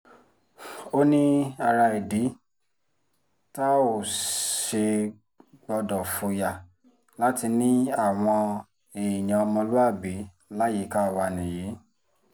ó ní ara ìdí tá ò ṣe gbọ́dọ̀ fòyà láti ní àwọn èèyàn ọmọlúàbí yìí láyìíká wa nìyí